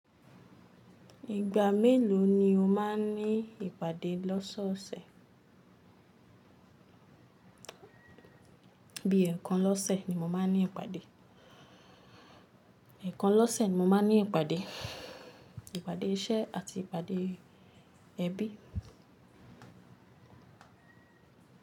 Ìgbà mélòó ni o máa ń ní ìpàdé lọ́sọ̀ọ̀sẹ̀? Bí i ẹẹkan lọ́sẹ̀ ni mo máa ń ní ìpàdé. Ẹ̀kan lọ́sẹ̀ ni mo máa ń ní ìpàdé. Ìpàdé iṣẹ́ àti ìpàdé ẹbí.